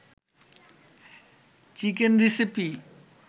chicken recipe